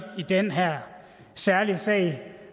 den her særlige sag